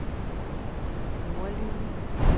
nordlige